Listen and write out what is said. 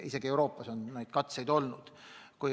Isegi Euroopas on neid katseid olnud.